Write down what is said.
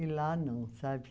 E lá não, sabe?